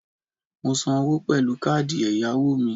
Mo san owó pèlú káàdì èyàwò mi